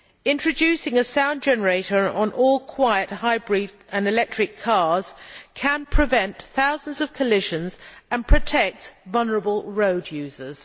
Introducing a sound generator on all quiet hybrid and electric cars can prevent thousands of collisions and protect vulnerable road users.